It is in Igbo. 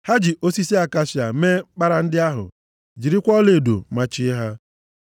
Ha ji osisi akashia mee mkpara ndị ahụ. Jirikwa ọlaedo machie ha.